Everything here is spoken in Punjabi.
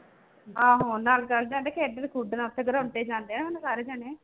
ਆਹੋ ਨਾਲ ਚਲੇ ਜਾਂਦੇ ਖੇਡਣ ਖੂਡਣ ਉੱਥੇ ਗਰੋਂਡੇ ਜਾਂਦੇ ਆ ਹੁਣ ਸਾਰੇ ਜਾਣੇ।